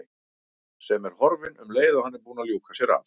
Sem er horfin um leið og hann er búinn að ljúka sér af.